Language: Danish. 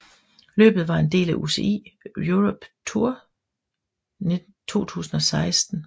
Løbet var en del af UCI Europa Tour 2016